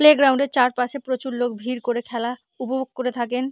Play গ্রাউন্ডে চারপাশে প্রচুর লোক ভিড় করে খেলা উপভোগ করে থাকেন।